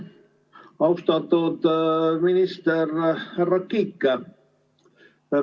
Austatud minister härra Kiik!